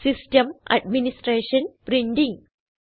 system administration printing